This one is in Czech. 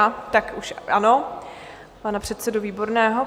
A tak už ano, pana předsedu Výborného.